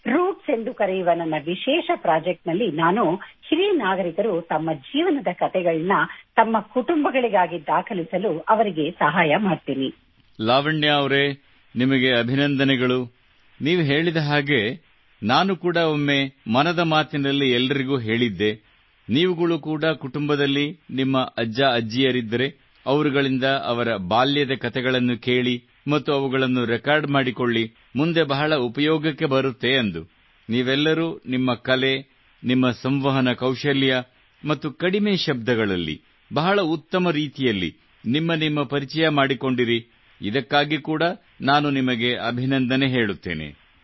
ಬೇರುಗಳು ಎಂದು ಕರೆಯುವ ನನ್ನ ವಿಶೇಷ ಪ್ರಾಜೆಕ್ಟ್ ನಲ್ಲಿ ನಾನು ಹಿರಿಯ ನಾಗರಿಕರು ತಮ್ಮ ಜೀವನದ ಕತೆಗಳನ್ನು ತಮ್ಮ ಕುಟುಂಬಗಳಿಗಾಗಿ ದಾಖಲಿಸಲು ನಾನು ಅವರಿಗೆ ಸಹಾಯ ಮಾಡುತ್ತೇನೆ